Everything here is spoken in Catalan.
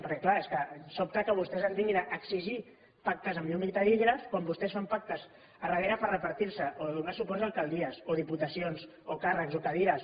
perquè és clar és que sobta que vostès ens vinguin a exigir pactes amb llum i taquígrafs quan vostès fan pactes a darrere per repartir se o donar suports a alcaldies o diputacions o càrrecs o cadires